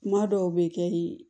Kuma dɔw bɛ kɛ i